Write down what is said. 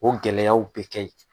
O gɛlɛyaw bɛ kɛ ye.